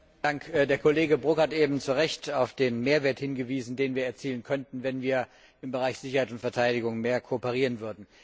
Herr Präsident! Der Kollege Brok hat eben zu Recht auf den Mehrwert hingewiesen, den wir erzielen könnten, wenn wir im Bereich Sicherheit und Verteidigung mehr kooperieren würden.